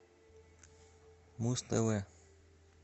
муз тв